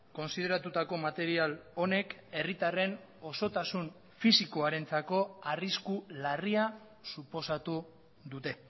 kontsideratutako material honek herritarren osotasun fisikoarentzako arrisku larria suposatu dute